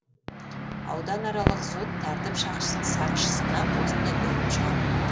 ауданаралық сот тәртіп сақшысына осындай үкім шығарды